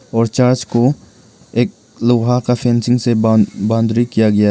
और चर्च को एक लोहा का फेंसिंग से बान बाउंड्री किया गया है।